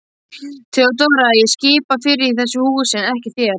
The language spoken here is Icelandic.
THEODÓRA: Ég skipa fyrir í þessu húsi en ekki þér.